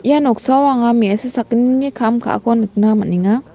ia noksao anga me·asa sakgnini kam ka·ako nikna man·enga.